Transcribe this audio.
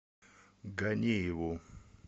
ганееву